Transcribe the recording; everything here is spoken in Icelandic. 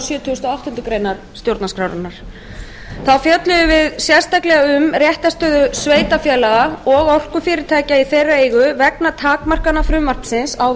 öðrum og sjötugasta og áttundu grein fjallaði nefndin sérstaklega um réttarstöðu sveitarfélaga og orkufyrirtækja í þeirra eigu vegna takmarkana frumvarpsins á